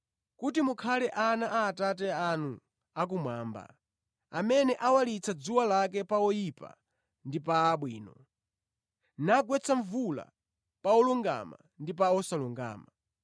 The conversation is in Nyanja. kuti mukhale ana a Atate anu akumwamba, amene awalitsa dzuwa lake pa oyipa ndi pa abwino, nagwetsa mvula pa olungama ndi pa osalungama.’